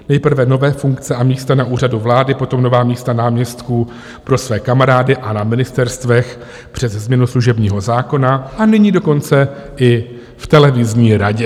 Nejprve nové funkce a místa na Úřadu vlády, potom nová místa náměstků pro své kamarády a na ministerstvech přes změnu služebního zákona, a nyní dokonce i v televizní radě.